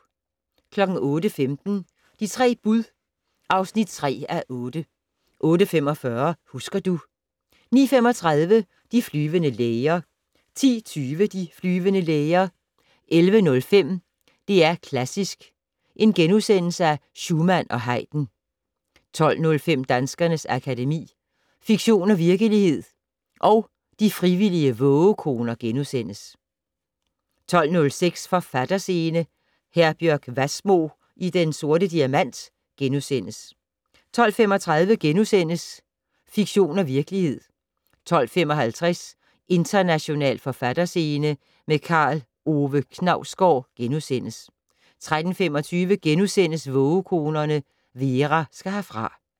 08:15: De tre bud (3:8) 08:45: Husker du... 09:35: De flyvende læger 10:20: De flyvende læger 11:05: DR Klassisk: Schumann og Haydn * 12:05: Danskernes Akademi: Fiktion og virkelighed & De frivillige vågekoner * 12:06: Forfatterscene: Herbjørg Wassmo i Den Sorte Diamant * 12:35: Fiktion og virkelighed * 12:55: International forfatterscene - med Karl Ove Knausgård * 13:25: Vågekonerne - Vera skal herfra *